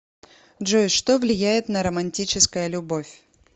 джой что влияет на романтическая любовь